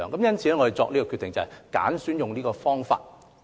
因此，我們決定執行這個方法。